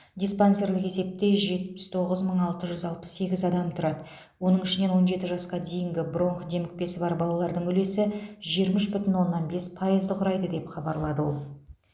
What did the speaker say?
диспансерлік есепте жетпіс тоғыз мың алты жүз алпыс сегіз адам тұрады оның ішінен он жеті жасқа дейінгі бронх демікпесі бар балалардың үлесі жиырма үш бүтін оннан бес пайызды құрайды деп хабарлады ол